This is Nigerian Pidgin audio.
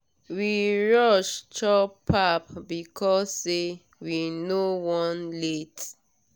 we rush chop pap because say we no wan late.